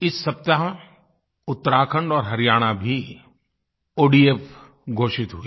इस सप्ताह उत्तराखण्ड और हरियाणा भी ओडीएफ घोषित हुए